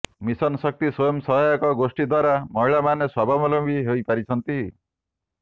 mission Shakti ସ୍ୱୟଂ ସହାୟକ ଗୋଷ୍ଠୀ ଦ୍ୱାରା ମହିଳାମାନେ ସ୍ୱାବଲମ୍ବୀ ହୋଇପାରିଛନ୍ତି